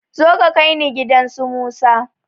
Zo ka kaini gidan su musa